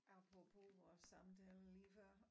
Apropos vores samtale lige før